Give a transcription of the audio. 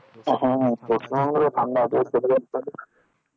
West Bengal A